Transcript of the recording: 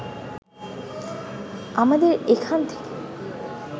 আমাদের এখান থেকে